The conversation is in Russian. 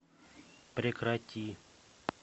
прекрати